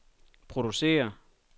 producere